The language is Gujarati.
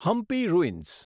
હમ્પી રુઇન્સ